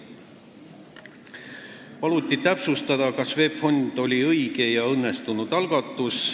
Paluti täpsustada, kas VEB Fond oli õige ja õnnestunud algatus.